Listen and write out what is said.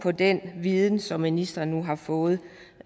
med den viden som ministeren nu har fået